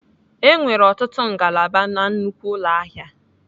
E nwere ọtụtụ ngalaba na nnukwu ụlọ ahịa.